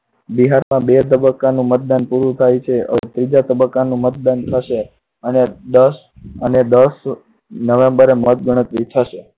બિહારમાં બે તબક્કાનું મતદાન પૂરું થાય છે હવે ત્રીજા તબક્કાનું મતદાન થશે અને દસ november એ મતગણતરી થશે.